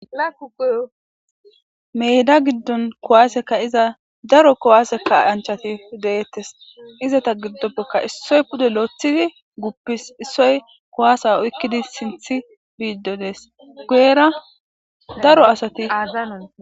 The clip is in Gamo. meyda giddon kowaase ka'iza daro kowaaseka anchati deeettes izata giddoppekka issoy pude loothidi guppis issoy kowasa oykkidi sinthi biiddo dees guyera daro asati a